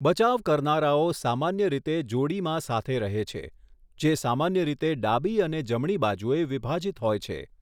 બચાવ કરનારાઓ સામાન્ય રીતે જોડીમાં સાથે રહે છે, જે સામાન્ય રીતે ડાબી અને જમણી બાજુએ વિભાજિત હોય છે.